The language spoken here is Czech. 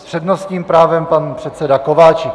S přednostním právem pan předseda Kováčik.